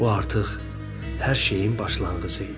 Bu artıq hər şeyin başlanğıcı idi.